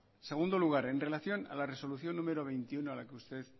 segundo lugar en relación a la resolución número veintiuno